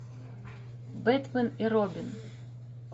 бэтмен и робин